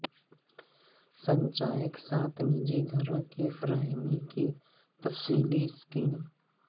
سنچایک ساتھ نجی گھروں کی فراہمی کی تفصیلی سکیم